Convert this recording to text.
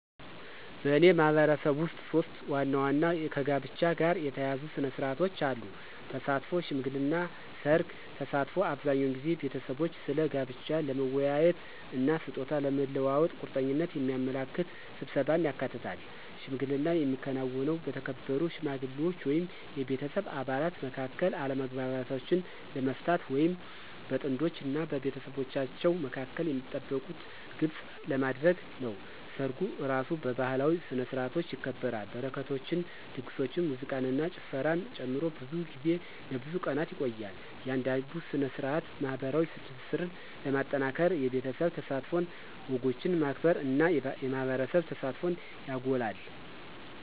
በእኔ ማህበረሰብ ውስጥ ሶስት ዋና ዋና ከጋብቻ ጋር የተያያዙ ሥነ ሥርዓቶች አሉ - ተሳትፎ፣ ሽምግልና እና ሠርግ። ተሳትፎ አብዛኛውን ጊዜ ቤተሰቦች ስለ ጋብቻ ለመወያየት እና ስጦታ ለመለዋወጥ ቁርጠኝነትን የሚያመለክት ስብሰባን ያካትታል። ሽምግልና የሚከናወነው በተከበሩ ሽማግሌዎች ወይም የቤተሰብ አባላት መካከል አለመግባባቶችን ለመፍታት ወይም በጥንዶች እና በቤተሰቦቻቸው መካከል የሚጠበቁትን ግልጽ ለማድረግ ነው። ሰርጉ እራሱ በባህላዊ ስነ-ስርዓቶች ይከበራል, በረከቶችን, ድግሶችን, ሙዚቃን እና ጭፈራን ጨምሮ, ብዙ ጊዜ ለብዙ ቀናት ይቆያል. እያንዳንዱ ሥነ ሥርዓት ማኅበራዊ ትስስርን ለማጠናከር የቤተሰብ ተሳትፎን፣ ወጎችን ማክበር እና የማህበረሰብ ተሳትፎን ያጎላል።